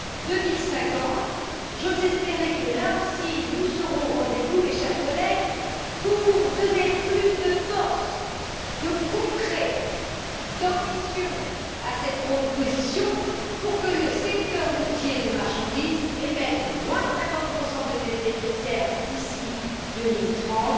2050. J'ose espérer que, là aussi, nous serons au rendez vous, mes chers collègues, pour donner plus de force, de concret et d'ambition à cette proposition afin que le secteur routier de marchandises émette 50 de gaz à effet de serre en moins d'ici 2030